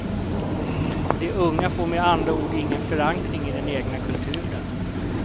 De unga får med andra ord ingen förankring i den egna kulturen.